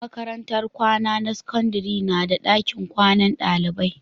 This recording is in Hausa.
Makarantar kwana na sakandare na da dakin kwanan dalibai